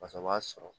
Faso b'a sɔrɔ